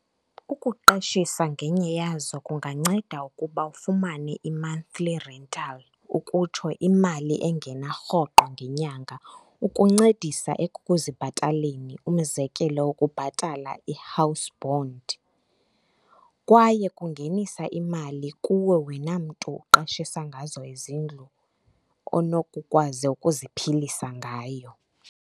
Ukuqeshisa ngenye yazo kunganceda ukuba ufumane i-monthly rental, ukutsho, imali engena rhoqo ngenyanga ukuncedisa ekukuzibhataleni, umzekelo ukubhatala i-house bond. Kwaye kungenisa imali kuwe wena mntu uqeshisa ngazo izindlu, onokukwazi ukuziphilisa ngayo.